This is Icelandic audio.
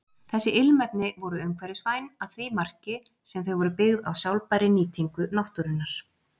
Þessi ilmefni voru umhverfisvæn að því marki sem þau voru byggð á sjálfbærri nýtingu náttúrunnar.